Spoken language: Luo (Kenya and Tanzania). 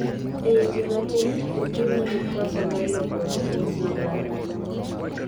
e ji matin, jotuwo nigi koso mar lokruok e genes madwarore